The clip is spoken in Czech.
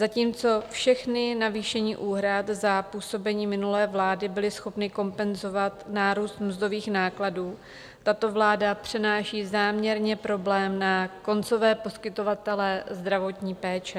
Zatímco všechna navýšení úhrad za působení minulé vlády byla schopna kompenzovat nárůst mzdových nákladů, tato vláda přenáší záměrně problém na koncové poskytovatele zdravotní péče.